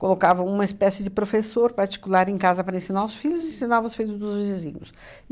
Colocavam uma espécie de professor particular em casa para ensinar os filhos e ensinavam os filhos dos vizinhos.